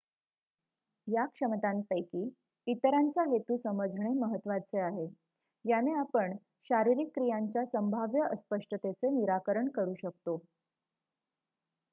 या क्षमतांपैकी इतरांचा हेतू समजणे महत्त्वाचे आहे याने आपण शारीरिक क्रियांच्या संभाव्य अस्पष्टतेचे निराकरण करू शकतो